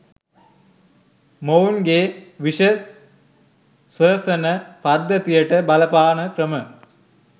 මොවුන්ගේ විෂ ස්වසන පද්ධතියට බලපාන ක්‍රම